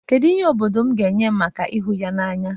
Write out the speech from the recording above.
Kedu ihe obodo m ga-enye m maka ịhụ ya n'anya?